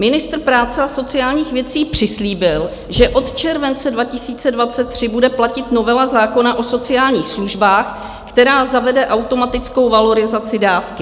Ministr práce a sociálních věcí přislíbil, že od července 2023 bude platit novela zákona o sociálních službách, která zavede automatickou valorizaci dávky.